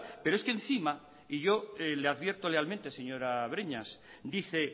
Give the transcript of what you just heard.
pero es que encima y yo le advierto lealmente señora breñas dice